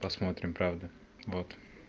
посмотрим правда вот